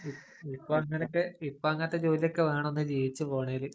ഇപ്പൊ അങ്ങനൊക്കെ ഇപ്പം അങ്ങനത്തെ ജോലിയൊക്കെ വേണം ഒന്ന് ജീവിച്ചു പോണമെങ്കില്.